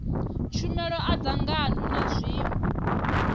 tshumelo a dzangano na zwiṅwe